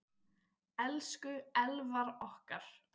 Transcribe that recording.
Elsku Elvar okkar.